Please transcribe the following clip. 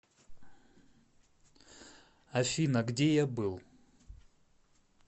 афина где я был